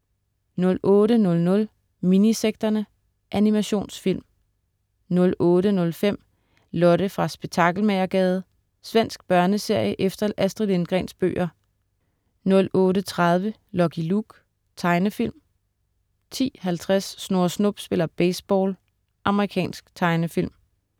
08.00 Minisekterne. Animationsfilm 08.05 Lotte fra Spektakelmagergade. Svensk børneserie efter Astrid Lindgrens bøger 08.30 Lucky Luke. Tegnefilm 10.50 Snurre Snup spiller baseball. Amerikansk tegnefilm